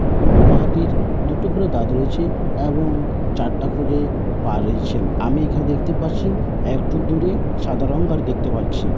বড়ো হাতির দুটো করে দাঁত রয়েছে এবং চারটা করে পা রয়েছে। আমি এখানে দেখতে পাচ্ছি একটু দূরে সাদা রং আর দেখতে পাচ্ছি ।